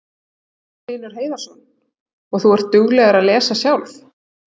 Magnús Hlynur Hreiðarsson: Og þú ert dugleg að lesa sjálf?